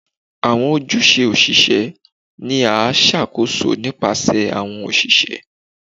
Awọn ojuse osise ni a ṣakoso nipasẹ awọn oṣiṣẹ